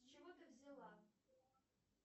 с чего ты взяла